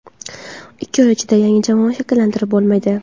Ikki oy ichida yangi jamoa shakllantirib bo‘lmaydi.